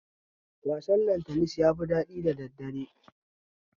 Wasan lantanis yafi daɗi da daddare